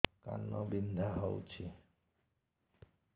କାନ ବିନ୍ଧା ହଉଛି